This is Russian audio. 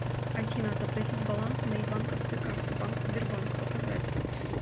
афина отобразить баланс моей банковской карты банк сбербанк показать